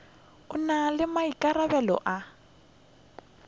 o na le maikarabelo a